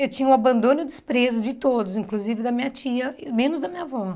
Eu tinha o abandono e o desprezo de todos, inclusive da minha tia, menos da minha avó.